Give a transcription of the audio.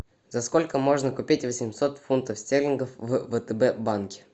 за сколько можно купить восемьсот фунтов стерлингов в втб банке